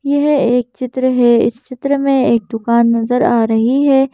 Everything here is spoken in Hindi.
यह एक चित्र है इस चित्र मे एक दुकान नजर आ रही है।